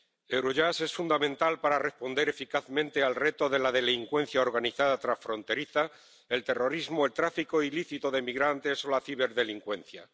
Eurojust es fundamental para responder eficazmente al reto de la delincuencia organizada transfronteriza, el terrorismo, el tráfico ilícito de migrantes o la ciberdelincuencia.